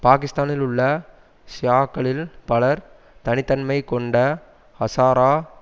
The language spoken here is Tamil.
பாகிஸ்தானில் உள்ள ஷியாக்களில் பலர் தனித்தன்மைகொண்ட ஹசாரா